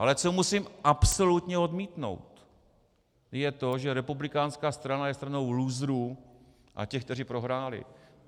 Ale co musím absolutně odmítnout, je to, že republikánská strana je strana lůzrů a těch, kteří prohráli.